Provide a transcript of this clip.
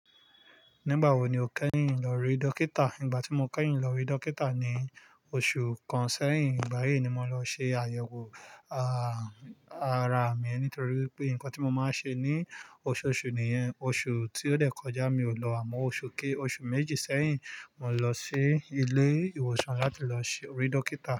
Nígbà wo ni o kẹ́yìn lọ rí dókítà? Ígbà tí mo kẹ́yìn lọ rí dókítà ni oṣù kan sẹ́yìn. Igbayi ni mo lọ ṣe àyẹ̀wò, ààh, ara mi nítorí wipé nǹkan tí mo máa ń ṣe ní oṣooṣù nìyẹn. Oṣù tí ó dẹ̀ kọjá mi ò lọ àmọ́ oṣù kí óṣù méjì sẹ́yìn, mo lọ sí ilé ìwòsàn láti lọ ṣe rí dókítà.